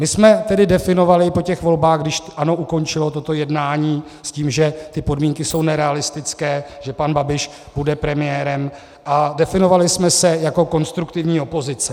My jsme tedy definovali po těch volbách, když ANO ukončilo toto jednání s tím, že ty podmínky jsou nerealistické, že pan Babiš bude premiérem, a definovali jsme se jako konstruktivní opozice.